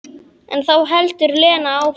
En þá heldur Lena áfram.